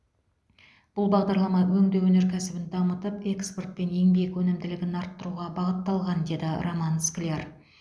бұл бағдарлама өңдеу өнеркәсібін дамытып экспорт пен еңбек өнімділігін арттыруға бағытталған деді роман скляр